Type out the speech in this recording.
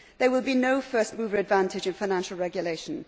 There will be no first mover advantage in financial regulation.